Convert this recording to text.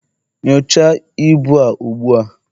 nyocha ibu a ugbua!